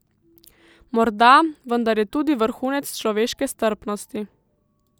Morda, vendar je tudi vrhunec človeške strpnosti.